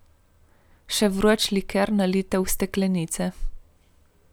Še vroč liker nalijte v steklenice.